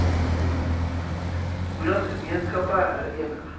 hoedat gemeenskappe herenig